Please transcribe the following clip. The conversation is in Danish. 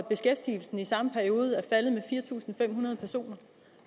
beskæftigelsen i samme periode er faldet med fire tusind fem hundrede personer